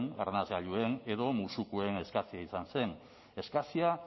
arnasgailuen edo musukoen eskasia izan zen eskasia